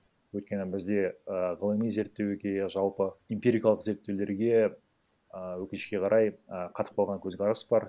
өйткені бізде ііі ғылыми зерттеуге жалпы эмпирикалық зерттеулерге і өкінішке қарай і қатып қалған көзқарас бар